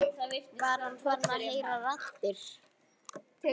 Var hann farinn að heyra raddir?